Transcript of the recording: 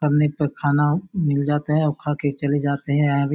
बनने पर खाना मिल जाता है और खाके चले जाते है यहाँ भी--